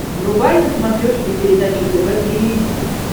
врубай на смотрешке передачу тв три эйч ди